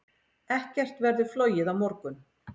Ekkert verður flogið á morgun.